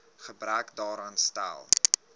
gebrek daaraan stel